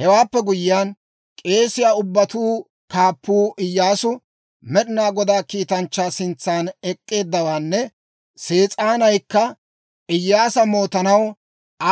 Hewaappe guyyiyaan, k'eesiyaa ubbatuu kaappuu Iyyaasu Med'inaa Godaa kiitanchchaa sintsan ek'k'eeddawaanne Sees'aanaykka Iyyaasa mootanaw